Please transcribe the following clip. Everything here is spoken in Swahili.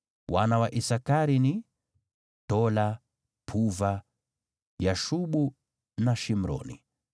Wana wa Isakari ni: Tola, Puva, Yashubu na Shimroni.